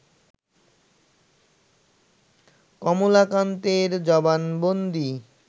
কমলাকান্তের জবানবন্দি